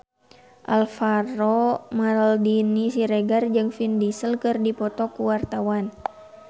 Alvaro Maldini Siregar jeung Vin Diesel keur dipoto ku wartawan